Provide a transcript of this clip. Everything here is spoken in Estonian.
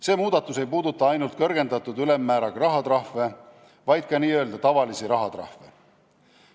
See muudatus ei puuduta ainult kõrgendatud ülemmääraga rahatrahve, vaid ka n-ö tavalisi rahatrahve.